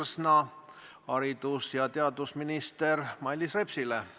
Küsimus on haridus- ja teadusminister Mailis Repsile.